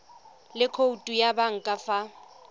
le khoutu ya banka fa